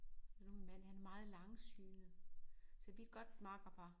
Nu min mand han er meget langsynet så vi er et godt makkerpar